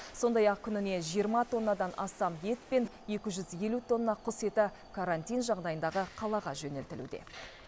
сондай ақ күніне жиырма тоннадан астам ет пен екі жүз елу тонна құс еті карантин жағдайындағы қалаға жөнелтілуде